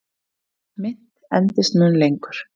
Mynt endist mun lengur.